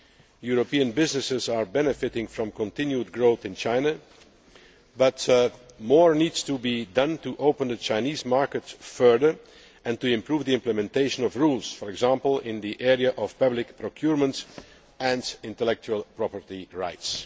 European businesses are benefiting from continued growth in China, but more needs to be done to open the Chinese market further and to improve the implementation of rules, for example, in the area of public procurement and intellectual property rights.